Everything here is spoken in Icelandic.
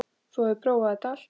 Þú hafðir prófað þetta allt.